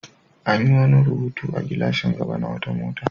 An yi wani rubutu a gilashin gaba na wata mota.